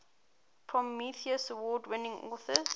prometheus award winning authors